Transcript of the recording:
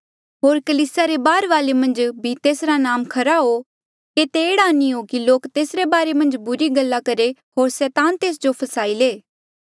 होर कलीसिया रे बाहरवाले मन्झ भी तेसरा नाम खरा हो केते एह्ड़ा नी हो कि लोक तेसरे बारे मन्झ बुरी गल्ला करहे होर सैतान तेस जो फसाई ले